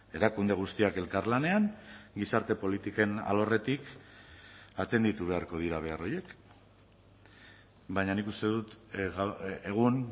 erakunde guztiak elkarlanean gizarte politiken alorretik atenditu beharko dira behar horiek baina nik uste dut egun